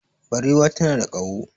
Barewa tana da kaho